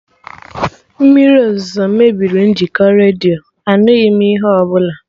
Mmiri ozuzo mebiri njikọ redio, anụghị m ihe ọbụla